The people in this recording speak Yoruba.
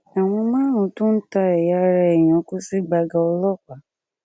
àwọn márùnún tó ń ta ẹyà ara èèyàn kò sì gbága ọlọpàá